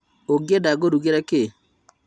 ũngĩenda ngũrugĩre kĩ?